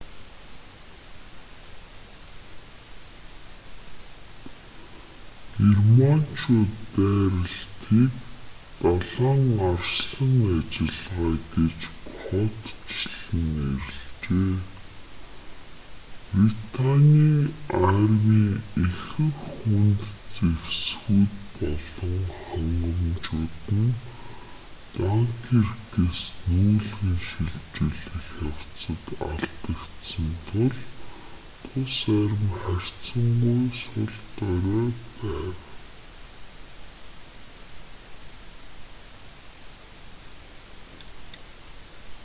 германчууд дайралтыг далайн арслан ажиллагаа гэж кодчилон нэрлэжээ британий армийн ихэнх хүнд зэвсгүүд болон хангамжууд нь данкиркээс нүүлгэн шилжүүлэх явцад алдагдсан тул тус арми харьцангуй сул дорой байв